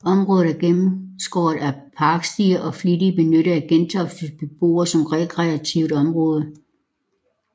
Området er gennemskåret af parkstier og er flittigt benyttet af Gentoftes beboere som rekreativt område